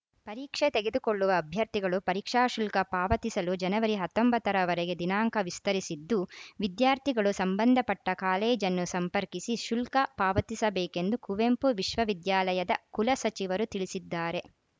ಪರೀಕ್ಷೆ ತೆಗೆದುಕೊಳ್ಳುವ ಅಭ್ಯರ್ಥಿಗಳು ಪರೀಕ್ಷಾ ಶುಲ್ಕ ಪಾವತಿಸಲು ಜನವರಿ ಹತ್ತೊಂಬತ್ತ ರವರೆಗೆ ದಿನಾಂಕ ವಿಸ್ತರಿಸಿದ್ದು ವಿದ್ಯಾರ್ಥಿಗಳು ಸಂಬಂಧಪಟ್ಟಕಾಲೇಜನ್ನು ಸಂಪರ್ಕಿಸಿ ಶುಲ್ಕ ಪಾವತಿಸಬೇಕೆಂದು ಕುವೆಂಪು ವಿಶ್ವವಿದ್ಯಾಲಯದ ಕುಲಸಚಿವರು ತಿಳಿಸಿದ್ದಾರೆ